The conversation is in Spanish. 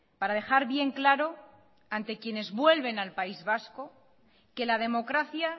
para dejar bien claro ante quienes vuelven al país vasco que la democracia